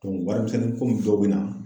warimisɛnnin komi dɔw be na